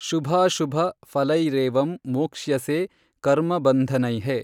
ಶುಭಾಶುಭಫಲೈರೇವಂ ಮೋಕ್ಷ್ಯಸೇ ಕರ್ಮಬನ್ಧನೈಃ।